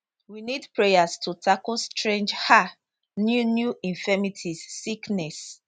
we need prayers to tackle strange um new new infirmities sickness